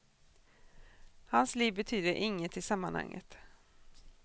Hans liv betyder inget i sammanhanget.